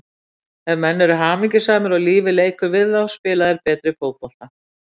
Ef menn eru hamingjusamir og lífið leikur við þá spila þeir betri fótbolta.